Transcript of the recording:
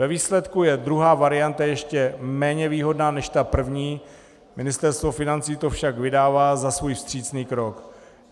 Ve výsledku je druhá varianta ještě méně výhodná než ta první, Ministerstvo financí to však vydává za svůj vstřícný krok.